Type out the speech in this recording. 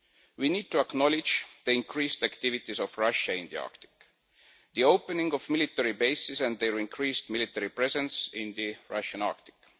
We need to acknowledge the increased activities of Russia in the Arctic, the opening of military bases and their increased military presence in the Russian Arctic.